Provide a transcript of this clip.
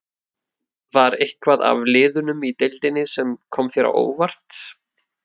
Var eitthvað af liðunum í deildinni sem kom þér á óvart?